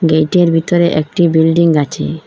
Gate -এর ভিতরে একটি বিল্ডিং আছে।